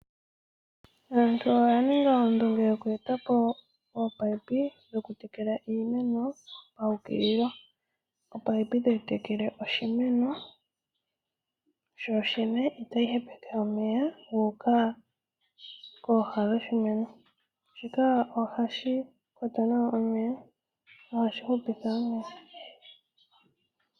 Aantu oya ningi oondunge yoku eta po opaipi yoku tekela iimeno paukililo. Opaipi tayi tekele oshimeno sho shene, itayi hepeke omeya guuka kooha dho shimeno. Shika ohashi kwata nawa omeya nohashi hupitha wo.